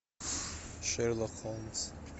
шерлок холмс